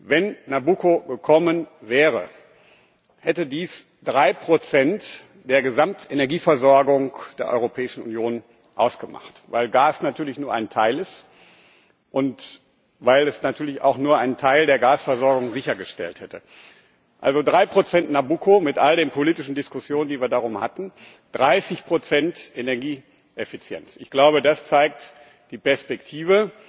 Wenn Nabucco gekommen wäre, hätte dies 3 der Gesamtenergieversorgung der Europäischen Union ausgemacht, weil Gas natürlich nur ein Teil ist und weil es natürlich auch nur einen Teil der Gasversorgung sichergestellt hätte. Also 3 Nabucco mit all den politischen Diskussionen, die wir darum hatten 30 Energieeffizienz Ich glaube, das zeigt die Perspektive.